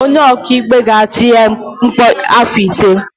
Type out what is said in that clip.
Onye ọkaikpe ga-atụ ya mkpọrọ afọ ise.